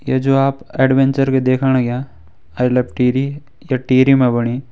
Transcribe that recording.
ये जो आप ऐडवेनचर भी देखण अग्यां आई लव टिहरी या टिहरी मा बणी।